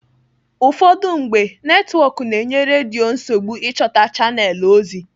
Ụfọdụ mgbe, netwọk na-enye redio nsogbu ịchọta chanelụ ozi.